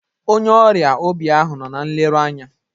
Onye ọrịa obi ahụ nọ na nleru anya.